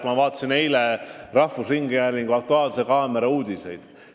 Ma vaatasin eile rahvusringhäälingu "Aktuaalse kaamera" uudiseid.